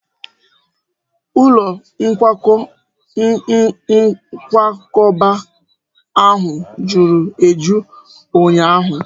Ụlọ nkwakọba ahụ juru eju ụnyaahụ